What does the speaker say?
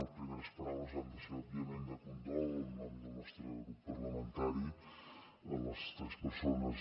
les primeres paraules han de ser òbviament de condol en nom del nostre grup parlamentari a les tres persones